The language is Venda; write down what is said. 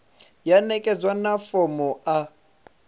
ya ṋekedzwa na fomo a